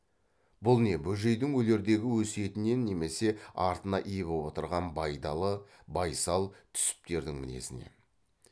бұл не бөжейдің өлердегі өсиетінен немесе артына ие боп отырған байдалы байсал түсіптердің мінезінен